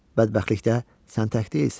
Bədbəxtlikdə sən tək deyilsən.